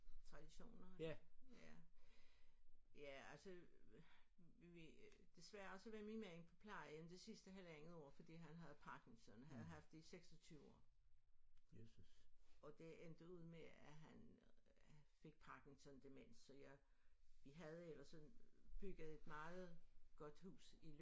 Traditioner? Ja ja altså vi desværre så var min mand på plejehjem det sidste halvanden år fordi han havde Parkinson havde haft det i 26 år og det endte ud med at han fik Parkinson demens så jeg vi havde ellers sådan bygget et meget godt hus i